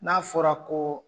N'a fɔra ko.